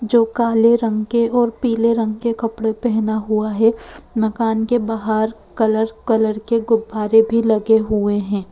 जो काले रंग के और पीले रंग के कपड़े पहना हुआ है मकान के बाहर कलर कलर के गुब्बारे भी लगे हुए हैं।